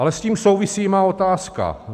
Ale s tím souvisí má otázka.